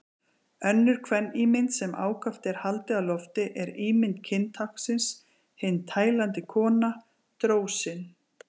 Önnur kvenímynd sem ákaft er haldið á lofti er ímynd kyntáknsins, hin tælandi kona, drósin.